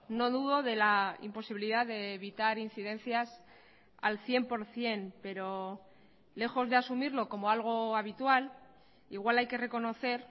no dudo de la imposibilidad de evitar incidencias al cien por ciento pero lejos de asumirlo como algo habitual igual hay que reconocer